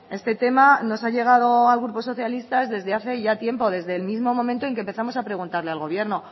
este tema nos ha llegado al grupo socialistas desde hace ya tiempo desde el mismo momento en que empezamos a preguntarle al gobierno